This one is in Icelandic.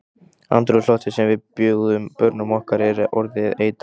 Andrúmsloftið sem við bjóðum börnum okkar er orðið eitrað.